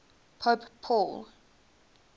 pope paul